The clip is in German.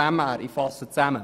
Ich fasse zusammen: